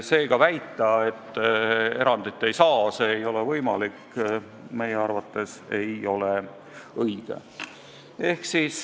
Seega väita, et erandit ei saa, see ei ole võimalik, pole meie arvates alust.